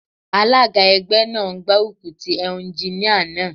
Alága ẹgbẹ́ náà ń gbárùkù tí Éúnjíníà náà